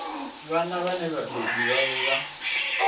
vhana vhane vhabebi vhavho vha